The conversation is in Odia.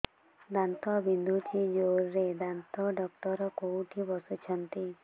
ଦାନ୍ତ ବିନ୍ଧୁଛି ଜୋରରେ ଦାନ୍ତ ଡକ୍ଟର କୋଉଠି ବସୁଛନ୍ତି